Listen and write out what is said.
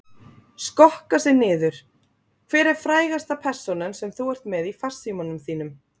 Skokka sig niður Hver er frægasta persónan sem þú ert með í farsímanum þínum?